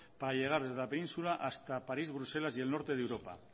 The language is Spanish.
para llegar desde la península hasta paris bruselas y el norte de europa